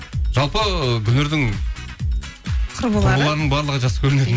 жалпы ы гүлнұрдың құрбыларының барлығы жас көрнеді